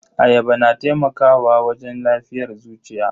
Ayaba na taimakawa wajen lafiyar zuciya.